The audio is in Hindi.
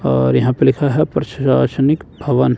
और यहां पे लिखा है प्रशासनिक भवन।